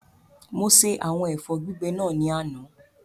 Mo ṣe àwọn ẹ̀fọ́ gbígbẹ náà ní àná